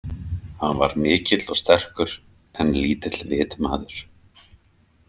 Hann var mikill og sterkur en lítill vitmaður.